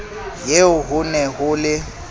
eo ho ne ho le